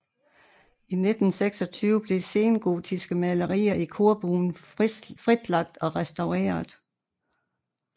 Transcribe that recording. I 1926 blev sengotiske malerier i korbuen frilagt og restaureret